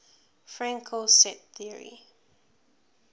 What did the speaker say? fraenkel set theory